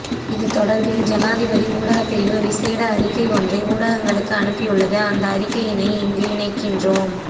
இதுதொடர்பில் ஜனாதிபதி ஊடகப்பிரிவு விசேட அறிக்கை ஒன்றை ஊடகங்களுக்கு அனுப்பியுள்ளது அந்த அறிக்கையினை இங்கு இணைக்கின்றோம்